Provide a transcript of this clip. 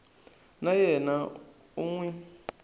wa yena u n wi